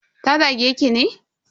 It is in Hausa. Ta zage ki ne?